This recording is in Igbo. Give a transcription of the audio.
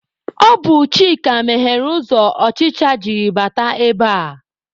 Ọ bụ Chika meghere ụzọ ọchịcha jiri bata ebe a.